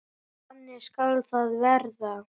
Þannig skal það verða.